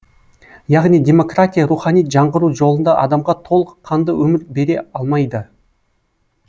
яғни демократия рухани жаңғыру жолында адамға толық қанды өмір бере алмайды